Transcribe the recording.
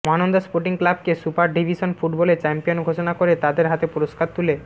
Mahananda sporting ক্লাবকে super division ফুটবলে champion ঘোষণা করে তাদের হাতে পুরস্কার তুলে